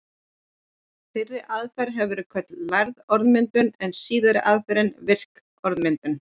Fyrri aðferðin hefur verið kölluð lærð orðmyndun en síðari aðferðin virk orðmyndun.